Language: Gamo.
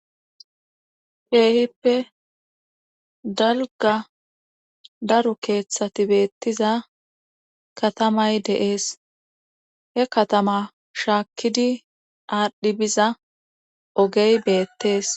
Kehippe dalgga daro keeththati beettiza katamay de'ees he katama shaakkidi aadhdhi biza ogey beettees